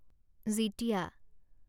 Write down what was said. Jitiya